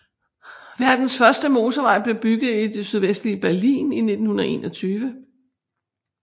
Verdens første motorvej blev bygget i det sydvestlige Berlin i 1921